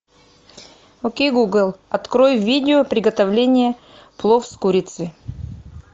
окей гугл открой видео приготовления плов с курицей